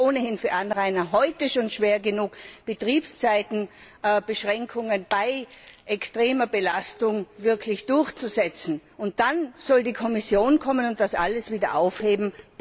Denn es ist ohnehin für Anrainer schon heute schwer genug, Betriebszeitenbeschränkungen bei extremer Belastung wirklich durchzusetzen, und dann soll die Kommission kommen und das alles wieder aufheben?